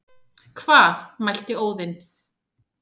Hvað mælti Óðinn,